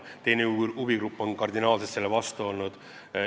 Teine huvigrupp on kardinaalselt selle vastu olnud.